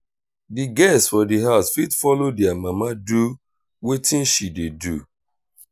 di girls for di house fit follow their mama do wetin she dey do